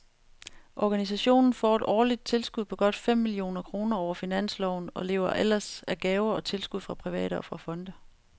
Organisationen får et årligt tilskud på godt fem millioner kroner over finansloven og lever ellers af gaver og tilskud fra private og fra fonde.